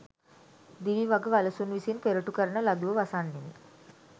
දිවි වග වලසුන් විසින් පෙරටු කරන ලදුව වසන්නෙමි.